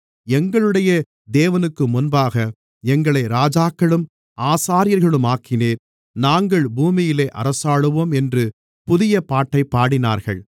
எங்களுடைய தேவனுக்குமுன்பாக எங்களை ராஜாக்களும் ஆசாரியர்களுமாக்கினீர் நாங்கள் பூமியிலே அரசாளுவோம் என்று புதிய பாட்டைப் பாடினார்கள்